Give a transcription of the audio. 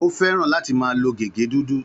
Ó fẹ́ràn láti máa lo gègé dúdú.